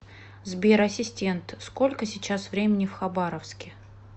сбер ассистент сколько сейчас времени в хабаровске